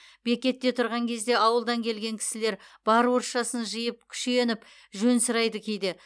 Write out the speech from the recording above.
бекетте тұрған кезде ауылдан келген кісілер бар орысшасын жиып күшеніп жөн сұрайды кейде